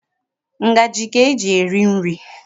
Ngaji ka e ji eri nri.